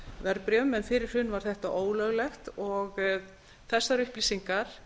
verðbréfum en fyrir hrun var þetta ólöglegt þessar upplýsingar